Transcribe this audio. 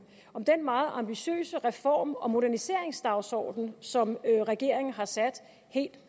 om den meget ambitiøse reform og moderniseringsdagsorden som regeringen har sat helt